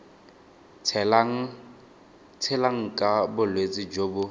tshelang ka bolwetsi jo bo